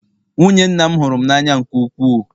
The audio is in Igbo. nwunye nna m hụrụ m n'anya nke ukwuu